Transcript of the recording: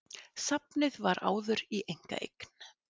Safnið var áður í einkaeign